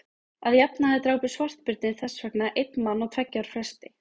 að jafnaði drápu svartbirnir þess vegna einn mann á tveggja ára fresti